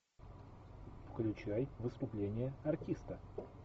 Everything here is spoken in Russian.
включай выступление артиста